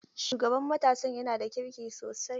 Shugaban matasan yana da kirki sosai.